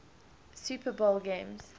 super bowl games